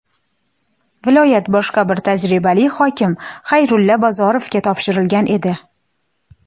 viloyat boshqa bir tajribali hokim – Xayrulla Bozorovga topshirilgan edi.